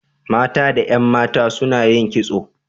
Mata da 'yan mata suna yin kitso.